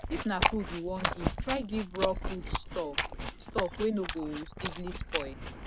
if na food you won give try give raw foods stuff stuff wey no go easily spoil